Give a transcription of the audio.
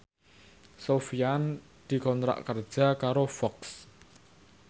Sofyan dikontrak kerja karo Fox